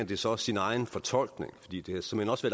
det så også sin egen fortolkning fordi det havde såmænd også